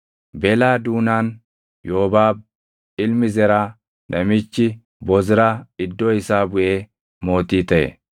Belaa duunaan Yoobaab ilmi Zeraa namichi Bozraa iddoo isaa buʼee mootii taʼe.